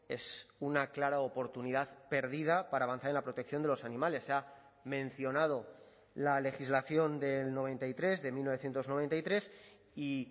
es una clara oportunidad perdida para avanzar en la protección de los animales se ha mencionado la legislación del noventa y tres de mil novecientos noventa y tres y